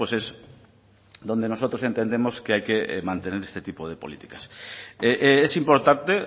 pues es donde nosotros entendemos que hay que mantener este tipo de políticas es importante